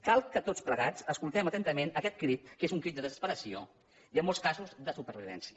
cal que tots plegats escoltem atentament aquest crit que és un crit de desesperació i en molts casos de supervivència